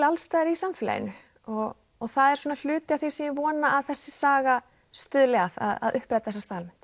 alls staðar í samfélaginu og það er svona hluti af því sem ég vona að þessi saga stuðli að að uppræta þessa staðalmynd